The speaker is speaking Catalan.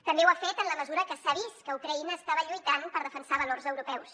també ho ha fet en la mesura que s’ha vist que ucraïna estava lluitant per defensar valors europeus